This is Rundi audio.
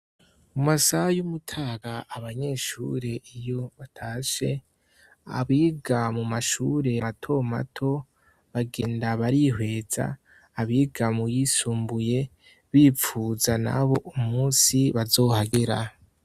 Mu masaha y'umutaga abanyeshure iyo batashe abiga mu mashure mato mato bagenda barihweza abiga mu yisumbuye bipfuza nabo umunsi bazohagera.